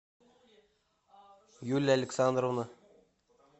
юлия александровна